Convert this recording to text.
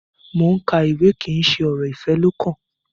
Mo n ka ìwé kí n ṣe ọrọ ifẹ lọkàn.